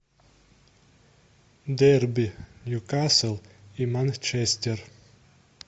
дерби ньюкасл и манчестер